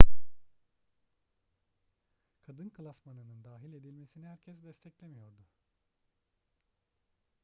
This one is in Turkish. kadın klasmanının dahil edilmesini herkes desteklemiyordu